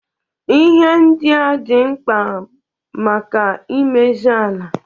Ihe ndia dị mkpa maka imezi ala.